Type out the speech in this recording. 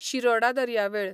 शिरोडा दर्यावेळ